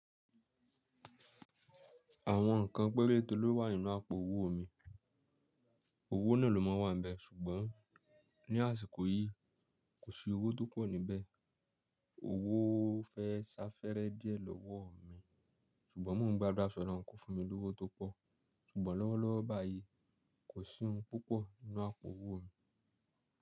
Àwọn nǹkan pẹ́rẹ́te ló wà nínú àpò owó mi, owó náà ló mọ́ wa n bẹ́ ṣùgbọ́n ní àsìkò yìí kò sí owó tó pọ̀ níbẹ̀. Owó fẹ́ ṣafẹ́rẹ́ díẹ̀ lọ́wọ́ mi ṣùgbọ́n mò ń gba aduá ṣi Olorun ko fún mi lówó tó pọ̀ ṣùgbọ́n lọ́wọ́lọ́wọ́ báyìí kò sì oun púpọ̀ nínú àpò owó mi.